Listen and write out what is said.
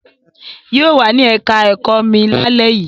Yóò wà ní ẹ̀ká ẹ̀kọ́ mi lálẹ́ yìí